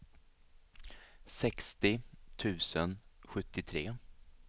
sextio tusen sjuttiotre